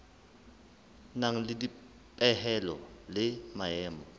nang le dipehelo le maemo